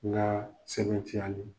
N ka sɛbɛntiyali